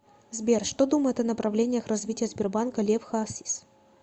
сбер что думает о направлениях развития сбербанка лев хасис